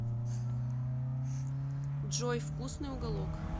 джой вкусный уголок